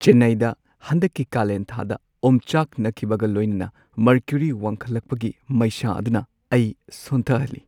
ꯆꯦꯟꯅꯥꯏꯗ ꯍꯟꯗꯛꯀꯤ ꯀꯥꯂꯦꯟꯊꯥꯗ ꯑꯣꯝꯆꯥꯛꯅꯈꯤꯕꯒ ꯂꯣꯏꯅꯅ ꯃꯔꯀꯨꯔꯤ ꯋꯥꯡꯈꯠꯂꯛꯄꯒꯤ ꯃꯩꯁꯥ ꯑꯗꯨꯅ ꯑꯩ ꯁꯣꯟꯊꯍꯟꯂꯤ꯫